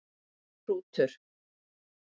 Hrútur